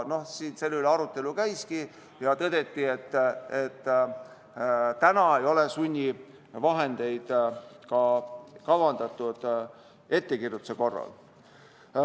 Selle üle arutelu käiski ja tõdeti, et sunnivahendeid ei ole kavandatud ka ettekirjutuse korral.